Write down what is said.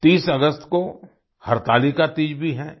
30 अगस्त को हरतालिका तीज भी है